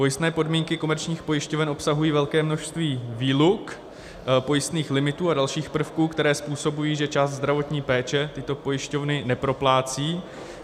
Pojistné podmínky komerčních pojišťoven obsahují velké množství výluk, pojistných limitů a dalších prvků, které způsobují, že část zdravotní péče tyto pojišťovny neproplácejí.